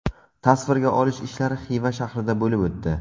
Tasvirga olish ishlari Xiva shahrida bo‘lib o‘tdi.